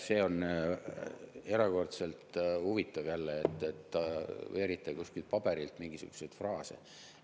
See on erakordselt huvitav, jälle, et te veerite kuskilt paberilt mingisuguseid fraase.